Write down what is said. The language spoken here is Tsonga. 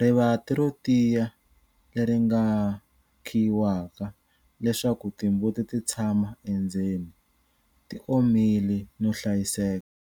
Rivanti ro tiya leri nga khiyiwaka leswaku timbuti ti tshama endzeni, ti omile no hlayiseka.